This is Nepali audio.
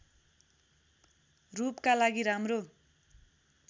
रूपका लागि राम्रो